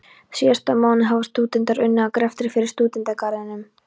Síðasta mánuð hafa stúdentar unnið að greftri fyrir Stúdentagarðinum.